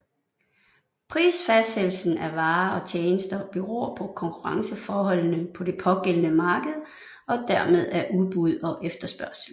Prisfastsættelsen af varer og tjenester beror på konkurrenceforholdene på det pågældende marked og dermed af udbud og efterspørgsel